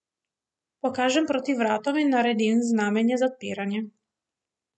Pokažem proti vratom in naredim znamenje za odpiranje.